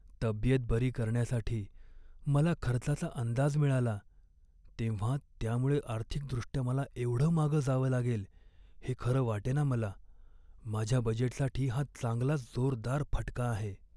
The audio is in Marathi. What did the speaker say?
तब्येत बरी करण्यासाठी मला खर्चाचा अंदाज मिळाला तेव्हा त्यामुळे आर्थिकदृष्ट्या मला एवढं मागं जावं लागेल हे खरं वाटेना मला. माझ्या बजेटसाठी हा चांगलाच जोरदार फटका आहे.